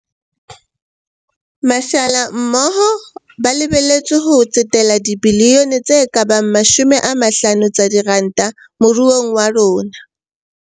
Mashala mmoho ba lebe letswe ho tsetela dibilione tse ka bang 50 tsa diranta moruong wa rona.